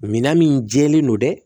Minan min jɛlen don dɛ